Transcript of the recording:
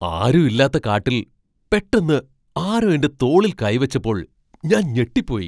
ആരും ഇല്ലാത്ത കാട്ടിൽ പെട്ടെന്ന് ആരോ എൻ്റെ തോളിൽ കൈ വെച്ചപ്പോൾ ഞാൻ ഞെട്ടിപ്പോയി.